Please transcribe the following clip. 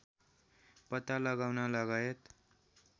पत्ता लगाउन लगायत